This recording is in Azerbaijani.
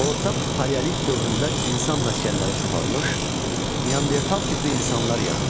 Orta paleolit dövründə insan məskənləri çoxalmış, Neandertal tipli insanlar yaranmışdı.